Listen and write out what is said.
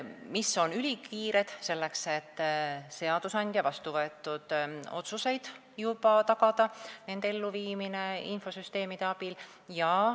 Ülikiired tööd on vajalikud selleks, et tagada seadusandja vastuvõetud otsuste elluviimine infosüsteemide abil.